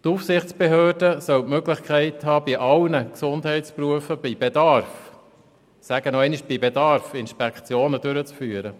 Die Aufsichtsbehörde soll die Möglichkeit haben, bei sämtlichen Gesundheitsberufen bei Bedarf – ich sage es noch einmal: bei Bedarf – Inspektionen durchzuführen.